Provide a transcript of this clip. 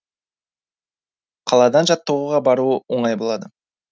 қаладан жаттығуға баруы оңай болады